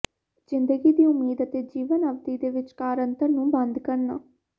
ਜ਼ਿੰਦਗੀ ਦੀ ਉਮੀਦ ਅਤੇ ਜੀਵਨ ਅਵਧੀ ਦੇ ਵਿਚਕਾਰ ਅੰਤਰ ਨੂੰ ਬੰਦ ਕਰਨਾ